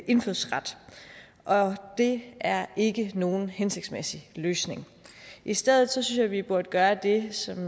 indfødsret og det er ikke nogen hensigtsmæssig løsning i stedet synes jeg vi burde gøre det som